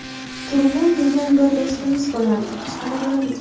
Turg‘un degan bir do‘stimiz bo‘lardi, qashqadaryolik.